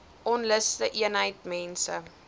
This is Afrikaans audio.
onluste eenheid mense